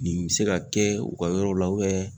Nin be se ka kɛ u ka yɔrɔw la